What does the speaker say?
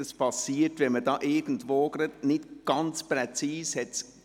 Dies passiert, wenn man irgendwo nicht ganz präzise ist.